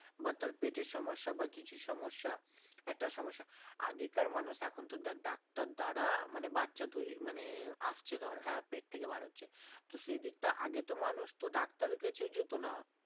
বা তার পেটের সমস্যা বা কিছু সমস্যা একটা সমস্যা আগেকার মানুষ এখন তো দেখ ডাক্তার দ্বারা মানে বাচ্চা তৈরি মানে আসছে ধর হ্যাঁ পেট থেকে বার হচ্ছে তো সেই দিকটা আগে তো মানুষ তো ডাক্তারের কাছেও যেত না,